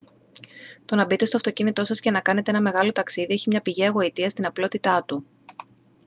το να μπείτε στο αυτοκίνητο σας και να κάνετε ένα μεγάλο ταξίδι έχει μια πηγαία γοητεία στην απλότητά του